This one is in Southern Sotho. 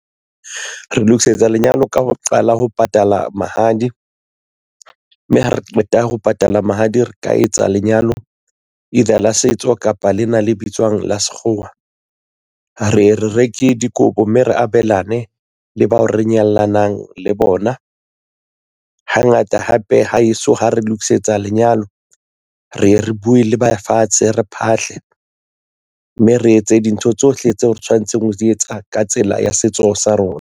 Re lokisetsa lenyalo ka ho qala ho patala mahadi, mme ha re qeta ho patala mahadi re ka etsa lenyalo ile la setso kapa lena le bitswang la sekgowa. Re e re reke dikobo mme re abelana ne le bao re nyalanang le bona. Hangata hape ha heso ha re lokisetsa lenyalo re ye re buwe le ba fatshe re phahlele mme re etse dintho tsohle tseo re tshwanetseng ho di etsa ka tsela ya setso sa rona.